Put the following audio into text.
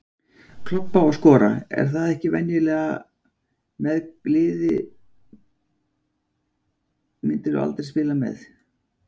Klobba og skora, er það ekki venjulega Hvaða liði myndir þú aldrei spila með?